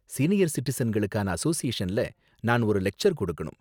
Senior சிட்டிசன்களுக்கான அசோசியேஷன்ல நான் ஒரு லெக்ச்சர் கொடுக்கணும்.